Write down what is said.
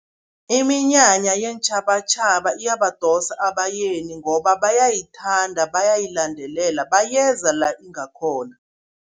Iminyanya yeentjhabatjhaba iyabadosa abayeni, ngoba bayayithanda, bayayilandelela bayeza la ingakhona.